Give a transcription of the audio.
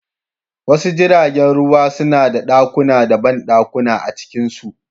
Wasu jiragen ruwa suna da ɗakuna da banɗakuna a cikinsu.